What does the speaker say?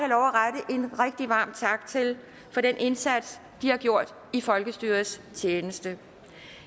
en rigtig varm tak til for den indsats de har gjort i folkestyrets tjeneste